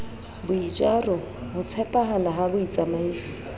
boitjaro ho tshepahala ha botsamaisi